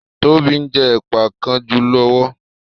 Tóbi njé Ẹ̀pà kajú lówó.